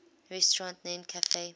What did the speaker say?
restaurant named cafe